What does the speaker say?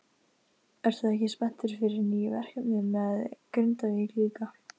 Ertu ekki spenntur fyrir nýju verkefni með Grindavík líka?